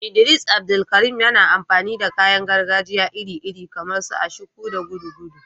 Idris Abdulkarim, yana amfani da kayan gargajiya iri-iri kamar su ashiko da gudugudu.